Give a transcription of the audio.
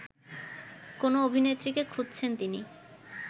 কোনো অভিনেত্রীকে খুঁজছেন তিনি